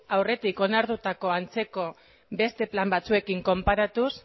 aurretik onartutako antzeko beste plan batzuekin konparatuz